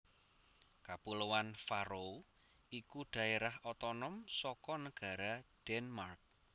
Kapuloan Faroe iku dhaérah otonom saka negara Denmark